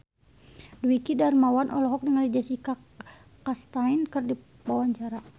Dwiki Darmawan olohok ningali Jessica Chastain keur diwawancara